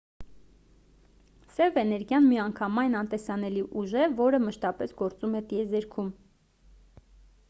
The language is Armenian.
սև էներգիան միանգամայն անտեսանելի ուժ է որը մշտապես գործում է տիեզերքում